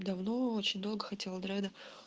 давно очень долго хотела дреды